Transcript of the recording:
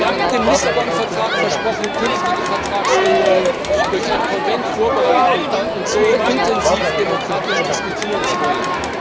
Wir haben mit dem Vertrag von Lissabon versprochen, künftige Vertragsänderungen durch einen Konvent vorbereiten und so intensiv demokratisch diskutieren zu wollen.